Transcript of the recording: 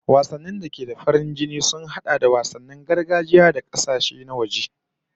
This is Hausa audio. Wasanni da da ke da farin jini sun hada da wasannin gargajiya da na kasashen waje